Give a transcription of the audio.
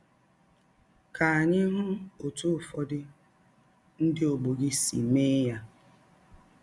Ka anyị hụ ọtụ ụfọdụ ndị ọgbọ gị si mee ya.